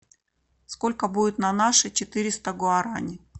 сколько будет на наши четыреста гуарани